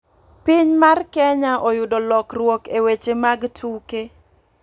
Piny mar kenya oyudo lokruok e weche mag tuke .